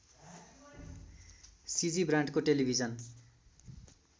सिजी ब्रान्डको टेलिभिजन